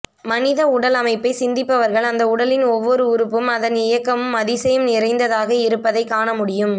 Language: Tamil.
மனித உடல் அமைப்பை சிந்திப்பவர்கள் அந்தஉடலின் ஒவ்வொரு உறுப்பும் அதன் இயக்கமும் அதிசயம் நிறைந்ததாக இருப்பதை காண முடியும்